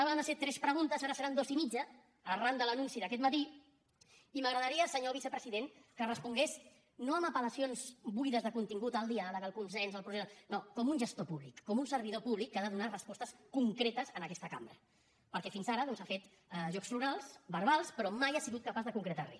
havien de ser tres preguntes ara en seran dues i mitja arran de l’anunci d’aquest matí i m’agradaria senyor vicepresident que respongués no amb apel·lacions buides de contingut al diàleg al consens al procés no com un gestor públic com un servidor públic que ha de donar respostes concretes en aquesta cambra perquè fins ara doncs ha fet jocs florals verbals però mai ha sigut capaç de concretar re